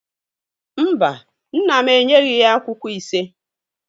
Mba, nna m enyeghi ya akwụkwọ ise.